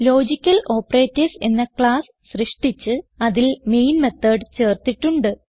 logical operators എന്ന class സൃഷ്ടിച്ച് അതിൽ മെയിൻ മെത്തോട് ചേർത്തിട്ടുണ്ട്